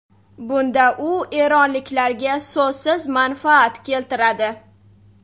Bunda u eronliklarga so‘zsiz manfaat keltiradi.